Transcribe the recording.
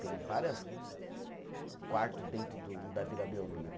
Tem várias quarto dentro do da Vila Belmiro.